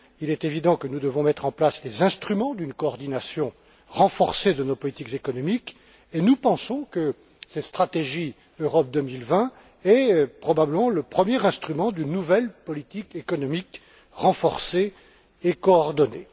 Il est évident que nous devons mettre en place les instruments d'une coordination renforcée de nos politiques économiques et nous pensons que cette stratégie Europe 2020 est probablement le premier instrument d'une nouvelle politique économique renforcée et coordonnée.